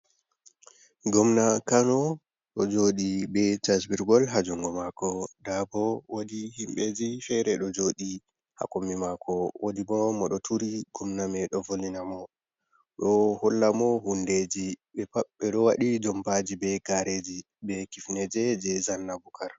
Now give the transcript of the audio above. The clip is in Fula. Gomna kano ɗo joɗi be casbirgol ha jungo mako, nda bo wodi himɓeji fere ɗo joɗi ha kombi mako, wodi bo mo ɗo turi, gomna mai doe volwinamo ɗo hollamo hundeji, ɓeɗo waɗi jompaji, be gareji, be kifneje je zanna bukar.